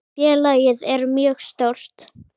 Félagið er mjög stórt.